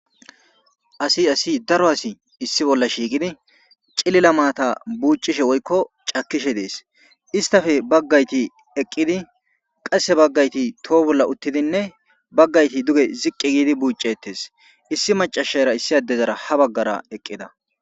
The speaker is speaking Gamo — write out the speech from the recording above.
Asi asi daro asi issi bolla shiiqidi cilila maata buuccishe woykko cakishe dees. istafe baggayti eqqidi qasse baggayti toho bolla uttidinne baggayti duge ziqqi giidi buuccettes. issi macashara issi addezara ha baggara eqqida.